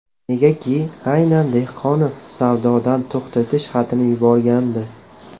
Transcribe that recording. Negaki aynan Dehqonov savdodan to‘xtatish xatini yuborgandi.